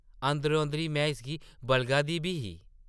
अंदरो-अंदरी में इसगी बलगा दी बी ही ।